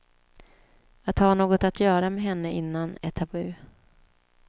Att ha något att göra med henne innan är tabu.